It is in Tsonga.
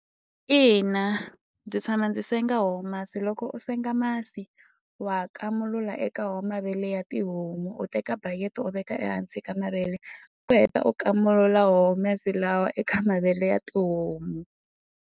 Ina ndzi tshama ndzi senga homu masi loko u senga masi wa kamulula eka wo mavele ya tihomu u teka backet u veka ehansi ka mavele u heta u kamulula wo masi lawa eka mavele ya tihomu.